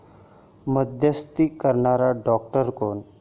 मध्यस्थी करणारा डॉक्टर कोण?